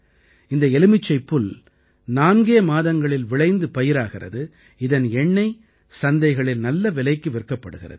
இந்த எலுமிச்சைப்புல் நான்கே மாதங்களில் விளைந்து பயிராகிறது இதன் எண்ணெய் சந்தைகளில் நல்ல விலைக்கு விற்கப்படுகிறது